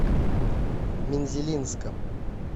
мензелинском